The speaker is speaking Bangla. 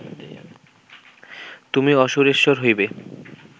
তুমি অসূরেশ্বর হইবে